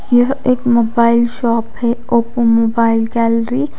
यह एक mobile shop है ओप्पो मोबाइल गैलरी --